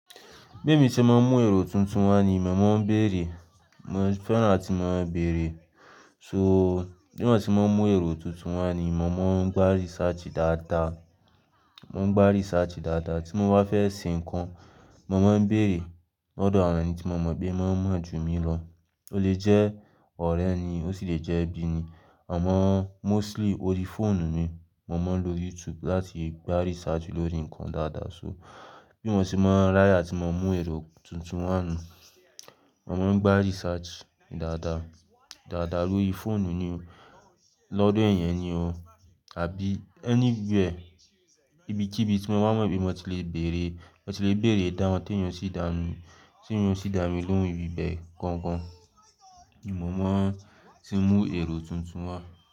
Bí emi ṣe máa ń mú èrò tuntun wá nì mọ́mọ́ ń bèrè, mo fẹ́ràn láti máa bèrè. So bí wọ́n tí wọ́n mú èrò tuntun wá nì mọ́mọ́ ń gbá research dáadáa, mo ń gbá research dáadáa tí mo bá fẹ́ ṣe nǹkan, mo máa ń bèrè lọ́dọ̀ àwọn ẹni tí mo mọ̀ pé wọ́n mọ̀ ju mi lọ. Ó lè jẹ́ ọ̀rẹ́ ni ó sì lè jẹ́ ẹbí ni àmọ́ mostly orí fóònù mi, mo máa ń lo YouTube láti gbá research lórí nǹkan dáadáa. So bí wọ́n ṣe máa ń rí àti mo mú èrò tuntun wá nu, mo máa ń gbá research dáadáa, dáadáa lórí fóònù ni o, lọ́dọ̀ ẹ̀eyan ni o àbí anywhere ibikíbi tí mo bá mọ̀ pé mo ti le bèrè, mo ti le bèrè idahun tí èèyàn sì dá mi, tí èèyàn sì dá mi lóhùn ibi bẹ́ẹ̀ gangan ni mo máa ti mú èrò tuntun wá.